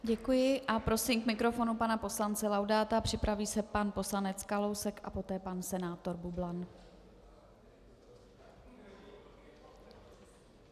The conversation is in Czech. Děkuji a prosím k mikrofonu pana poslance Laudáta, připraví se pan poslanec Kalousek a poté pan senátor Bublan.